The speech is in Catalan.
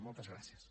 moltes gràcies